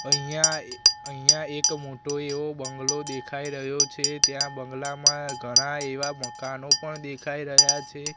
અહિયા એ અહિયા એક મોટો એવો બંગ્લો દેખાઇ રહ્યો છે ત્યાં બંગ્લામાં ઘણા એવા મકાનો પણ દેખાઈ રહ્યા છે.